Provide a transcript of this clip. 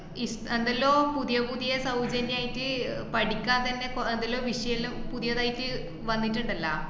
ഇപ്~ എന്തെല്ലോ പുതിയ പുതിയ സൗജന്യായിട്ട് അഹ് പഠിക്കാൻ തന്നെ കൊ~ എന്താലോ വിഷയല്ലോ പുതിയതായിട്ട് വന്നിട്ട്ണ്ടല്ല,